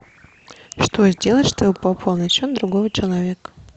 что сделать чтобы пополнить счет другого человека